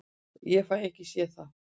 Ég fæ ekki séð það.